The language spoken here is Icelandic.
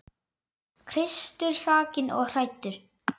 Kristur hrakinn og hæddur.